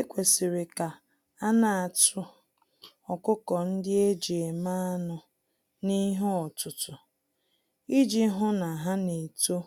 Ekwesịrị ka anatụ ọkụkọ-ndị-eji-eme-anụ n'ihe-ọtụtụ, iji hụ na ha N'eto